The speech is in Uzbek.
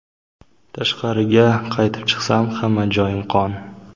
Tashqariga qaytib chiqsam, hamma joyim qon.